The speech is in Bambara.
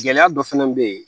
Gɛlɛya dɔ fɛnɛ bɛ yen